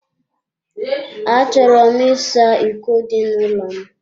A chọrọ m ịsa iko dị n'ụlọ m.